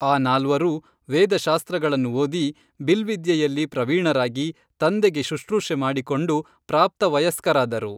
ಆ ನಾಲ್ವರೂ ವೇದಶಾಸ್ತ್ರಗಳನ್ನು ಓದಿ ಬಿಲ್ವಿದ್ಯೆಯಲ್ಲಿ ಪ್ರವೀಣರಾಗಿ ತಂದೆಗೆ ಶುಶ್ರೂಷೆ ಮಾಡಿಕೊಂಡು ಪ್ರಾಪ್ತವಯಸ್ಕರಾದರು